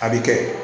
A bɛ kɛ